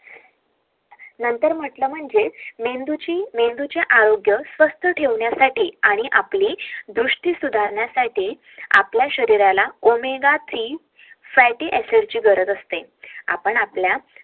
नंतर म्हटलं म्हणजे मेंदूची आरोग्य स्वस्त ठेवण्यासाठी आपल्या शरीराला ओमेघा त्री ची गरज असते